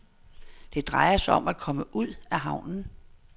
Det drejer sig om at komme ud af havnen.